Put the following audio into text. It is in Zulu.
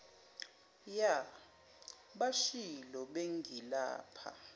ya bashilo bengilapha